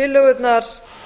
tillögurnar